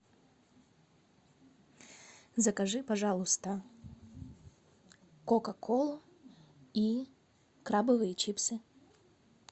закажи пожалуйста кока колу и крабовые чипсы